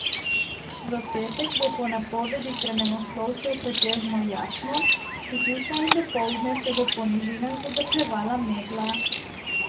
V petek bo po napovedih vremenoslovcev pretežno jasno, zjutraj in dopoldne se bo po nižinah zadrževala megla.